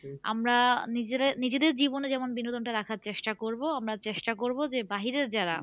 আমরা নিজেরা নিজেদের জীবনে যেমন বিনোদনটা রাখার চেষ্টা করবো আমরা চেষ্টা করবো যে বাহিরের যারা